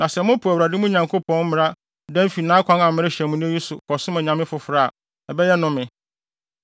Na sɛ mopo Awurade, mo Nyankopɔn mmara dan fi nʼakwan a merehyɛ mo nnɛ yi so, kɔsom anyame afoforo a, ɛbɛyɛ nnome.